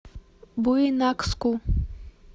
буйнакску